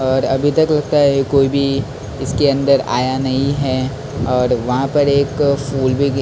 और अभी तक लगता है कोई भी इसके अंदर आया नहीं है और वहाँ पर एक फूल भी गिर टेबल के--